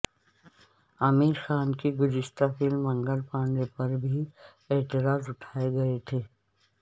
عامر خان کی گزشتہ فلم منگل پانڈے پر بھی اعتراض اٹھائے گئے تھے